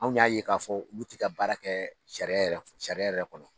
Anw y'a ye k'a fɔ ulu ti taa baara yɛrɛ kɛ sariya yɛrɛ kɔnɔ sariya yɛrɛ kɔnɔ